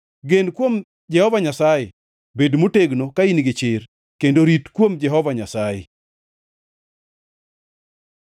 Gen kuom Jehova Nyasaye; bed motegno ka in gi chir, kendo rit kuom Jehova Nyasaye.